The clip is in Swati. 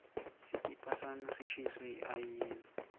sikipa sami sishiswe yiayina